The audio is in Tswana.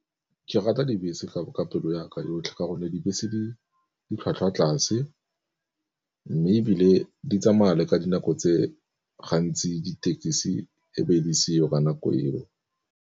Ke rata dibese ka ka pelo ya ka yotlhe ka gonne dibese ditlhwatlhwa tlase, mme ebile di tsamaya le ka dinako tse gantsi ditekisi e be di seo ka nako eo.